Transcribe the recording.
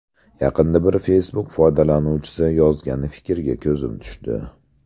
Yaqinda bir Facebook foydalanuvchisi yozgan fikrga ko‘zim tushdi.